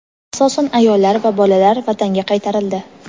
asosan ayollar va bolalar Vatanga qaytarildi.